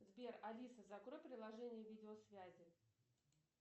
сбер алиса закрой приложение видеосвязи